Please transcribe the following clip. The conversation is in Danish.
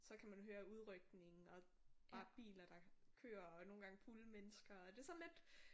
Så kan man høre udrykningen og der er biler der kører og nogen gange fulde mennesker og det sådan lidt